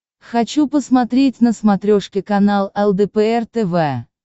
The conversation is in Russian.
хочу посмотреть на смотрешке канал лдпр тв